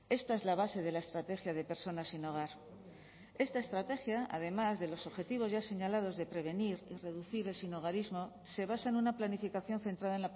esta es la base de la estrategia de personas sin hogar esta estrategia además de los objetivos ya señalados de prevenir y reducir el sinhogarismo se basa en una planificación centrada